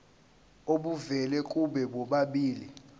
obuvela kubo bobabili